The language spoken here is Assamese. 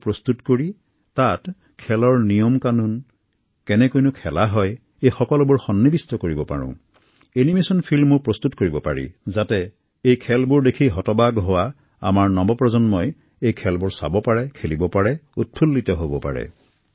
যুৱচামক আকৰ্ষিত কৰিবলৈ এনিমেচন ফিল্মো প্ৰস্তুত কৰিব পাৰি যাতে তেঁওলোকে খেলসমূহ আগ্ৰহেৰে শিকিব পাৰে